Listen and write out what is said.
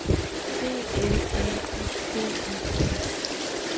C L A U D I A